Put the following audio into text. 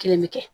Kelen bɛ kɛ